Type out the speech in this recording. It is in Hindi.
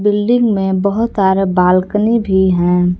बिल्डिंग में बहोत सारे बालकनी भी हैं।